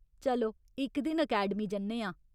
चलो इक दिन अकैडमी जन्ने आं!